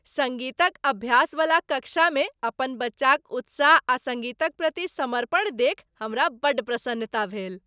सङ्गीतक अभ्यासवला कक्षामे अपन बच्चाक उत्साह आ सङ्गीतक प्रति समर्पण देखि हमरा बड़ प्रसन्नता भेल।